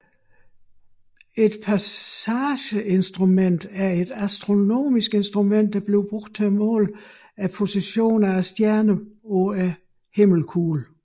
Et passageinstrument er et astronomisk instrument som bruges til måle stjerners position på himmelkuglen